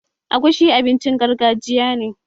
Agushi abincin gargajiya ne